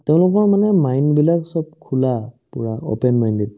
তেওঁলোকৰ মানে mind বিলাক চব খোলা পূৰা open minded